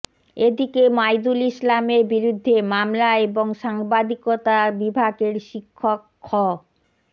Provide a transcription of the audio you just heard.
এদিকে মাইদুল ইসলামের বিরুদ্ধে মামলা এবং সাংবাদিকতা বিভাগের শিক্ষক খ